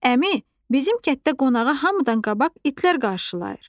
Əmi, bizim kətdə qonağı hamıdan qabaq itlər qarşılayır.